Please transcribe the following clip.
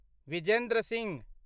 Vijendra Singh